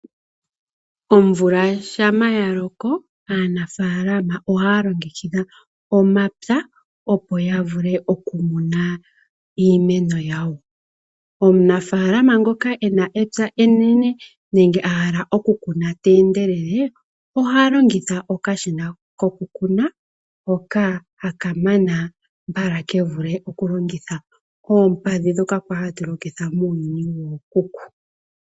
Omvula shampa yaloko aanafaalama ohaya longekidha omapya opo yavule okumuna iimeno yawo. Omunafaalama ngoka ena epya enene nenge ahala oku kuna teendelele oha longitha okashina kokukuna hoka haka mana mbala kevule okulongitha oompadhi ndhoka kwali hatu longitha muuyuni wookuku.